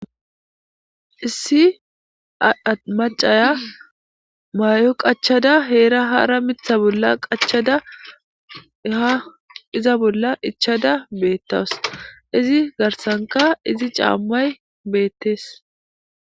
issi amacaya may7o qachada heera hara mitha bolla qachada eha iza bolla ichada beettaws izi garsanka izi caammay beettees